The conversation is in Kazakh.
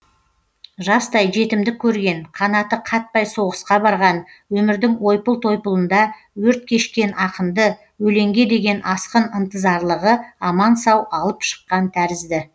жастай жетімдік көрген қанаты қатпай соғысқа барған өмірдің ойпыл тойпылында өрт кешкен ақынды өлеңге деген асқын ынтызарлығы аман сау алып шыққан тәрізді